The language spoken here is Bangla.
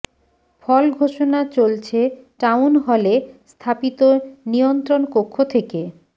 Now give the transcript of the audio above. ফল ঘোষণা চলছে টাউন হলে স্থাপিত নিয়ন্ত্রণ কক্ষ থেকে